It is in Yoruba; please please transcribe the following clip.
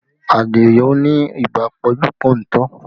Adio ni ibà pọ́njú-pọ́ntọ̀